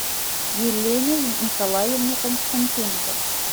елене николаевне константиновой